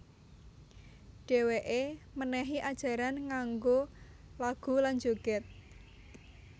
Dhèwèké mènèhi ajaran nganggo lagu lan jogèd